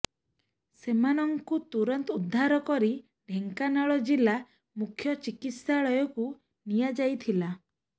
ସେମାନଙ୍କୁ ତୁରନ୍ତ ଉଦ୍ଧାର କରି ଢେଙ୍କାନାଳ ଜିଲ୍ଲା ମୁଖ୍ୟ ଚିକିତ୍ସାଳୟକୁ ନିଆଯାଇଥିଲା